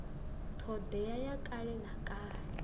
thodea ya kale na kale